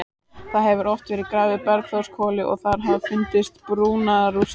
Það hefur oft verið grafið á Bergþórshvoli og þar hafa fundist brunarústir.